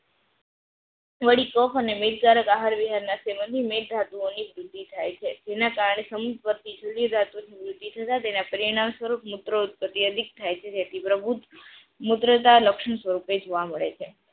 વળી કફ અને મેદ દ્વારા બહાર વિહાર ના સેવન થી મેદ ધાતુઓ ની વૃદ્ધિ થાય છે જેના કારણે સમૂહ વાતું જૂની ધાતુ તથા તેના પરિણામ સ્વરૂપ મૂત્ર ઉત્પત્તિ અધિક થાય છે જેથી પ્રભુ મુત્રતા લક્ષણ સ્વરૂપે જોવા મળે છે.